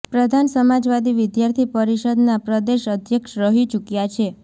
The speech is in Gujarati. પ્રધાન સમાજવાદી વિદ્યાર્થી પરિષદના પ્રદેશ અધ્યક્ષ રહી ચૂક્યા છે